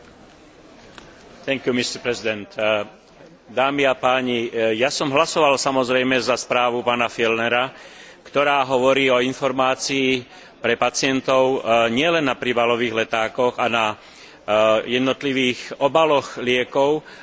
Ja som hlasoval samozrejme za správu pána Fjellnera, ktorá hovorí o informácii pre pacientov nielen na príbalových letákoch a na jednotlivých obaloch liekov, ale hlavne si všíma chovanie sa farmaceutických spoločností.